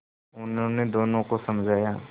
उन्होंने दोनों को समझाया